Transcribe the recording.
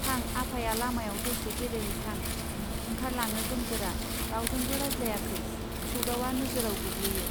थां आफाया लामायाव दसे गेले हैथां! ओंखार लाङो गोमजोरा रावजोंबो रायज्लायाखै सौदावआ नोजोराव गोग्लैयो.